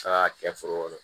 Taga kɛ foro kɔnɔ